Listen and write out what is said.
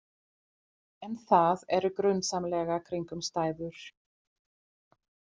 En það eru grunsamlegar kringumstæður.